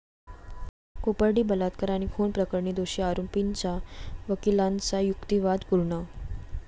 कोपर्डी बलात्कार आणि खून प्रकरणी दोषी आरोपींच्या वकिलांचा युक्तिवाद पूर्ण